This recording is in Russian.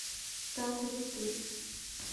там где ты